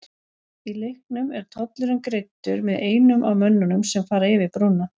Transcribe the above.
Í leiknum er tollurinn greiddur með einum af mönnunum sem fara yfir brúna.